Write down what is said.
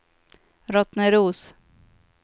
Rottneros